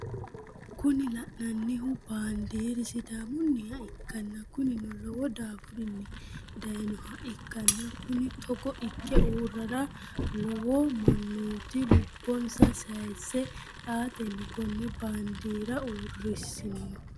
Kuni lannanihu banidiri sidamauniha ikana kunino lowo daffurinni dayinoha ikana kunni toggo ike urara lowo manoti lubonisa sayise ateni kone banidhira urisino